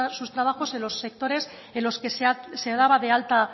sus trabajos en los sectores en los que se daba de alta